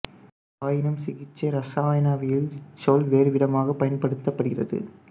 ஆயினும் சிகிச்சை இரசாயனவியலில் இச் சொல் வேறுவிதமாகப் பயன்படுத்தப் படுகிறது